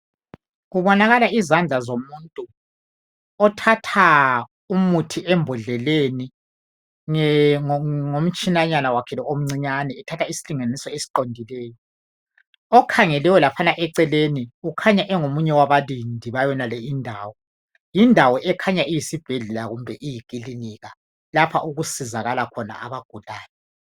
kubonaka izandla zomuntu othatha umuthi embodleleni ngomtshinanyana wakhe lowu omncinyane ethatha isilinganisa esiqondileyo okhangeleyo eceleni ukhanya ungomunye wabalindi bayonale indawo, indawo leyi ikhanya iyisibhedlela kumbe iklinika lapha okusizakala khona abagulayo.